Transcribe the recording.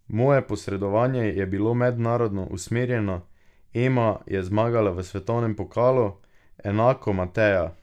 Moje predsedovanje je bilo mednarodno usmerjeno, Ema je zmagala v svetovnem pokalu, enako Mateja ...